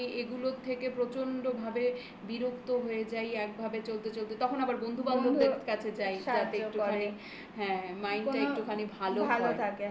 আবার যখন ধর আমি এগুলোর থেকে প্রচন্ড ভাবে বিরক্ত হয়ে যাই একভাবে চলতে চলতে তখন আমার বন্ধু বান্ধবদের কাছে যায় যাতে একটু সাহায্য করে হ্যাঁ mind টা একটুখানি ভালো থাকে